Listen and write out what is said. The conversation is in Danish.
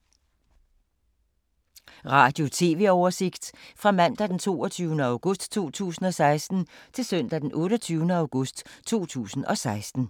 Radio/TV oversigt fra mandag d. 22. august 2016 til søndag d. 28. august 2016